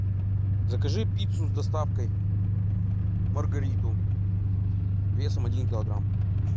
закажи пиццу с доставкой маргариту весом один килограмм